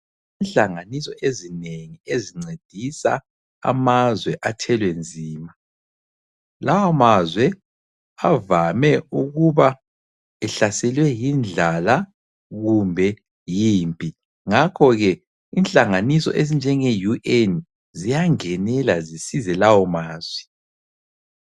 Inhlanganiso ezinengi ezincedisa amazwe athwele nzima. Lawo mazwe avame ukuba ehlaselwe yindlala kumbe yimpi ngakho ke inhlanganiso ezinjenge UN ziyangenela zisize lawo mazwe.